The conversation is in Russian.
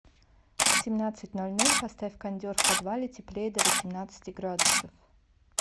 в семнадцать ноль ноль поставь кондер в подвале теплее до восемнадцати градусов